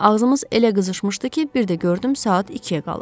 Ağzımız elə qızışmışdı ki, bir də gördüm saat ikiyə qalıb.